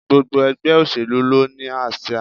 Gbogbo ègbé òṣèlú ló ni àsíá